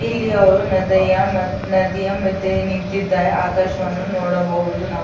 ಇಲ್ಲಿ ಅವ್ರು ನದಯಾ ನದಿಯ ಮದ್ಯೆ ನಿಂತಿದ್ದಾರೆ ಆಕಾಶವನ್ನು ನೋಡಬಹುದು ನಾವು --